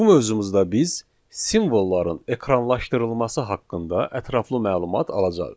Bu mövzumuzda biz simvolların ekranlaşdırılması haqqında ətraflı məlumat alacağıq.